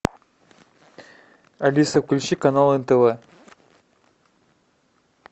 алиса включи канал нтв